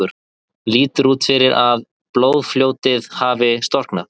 Lítur út fyrir að blóðfljótið hafi storknað.